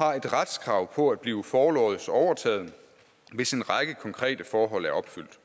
har et retskrav på at blive forlods overtaget hvis en række konkrete forhold er opfyldt